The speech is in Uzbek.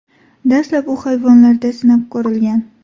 Dastlab u hayvonlarda sinab ko‘rilgan.